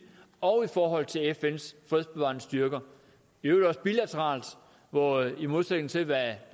og forhold til fns fredsbevarende styrker i øvrigt også bilateralt hvor i modsætning til hvad